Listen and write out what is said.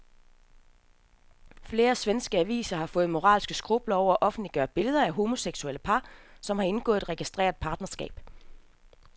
Flere svenske aviser har fået moralske skrupler over at offentliggøre billeder af homoseksuelle par, som har indgået registreret partnerskab.